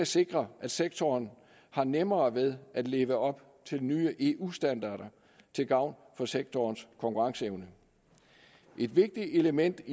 sikre at sektoren har nemmere ved at leve op til nye eu standarder til gavn for sektorens konkurrenceevne et vigtigt element